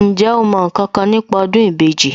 Ǹjẹ́ o mọ ǹkankan nípa ọdún ìbejì